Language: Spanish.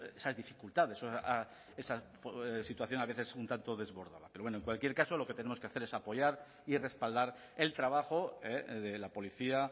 esas dificultades esa situación a veces un tanto desbordada pero bueno en cualquier caso lo que tenemos que hacer es apoyar y respaldar el trabajo de la policía